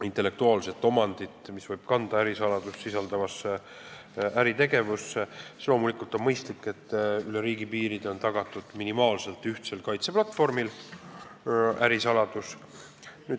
intellektuaalset omandit, mis võib sisaldada ärisaladust, on loomulikult mõistlik, et ärisaladusele on üle riigipiiride tagatud minimaalselt ühtne kaitseplatvorm.